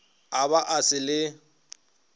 a be a sa le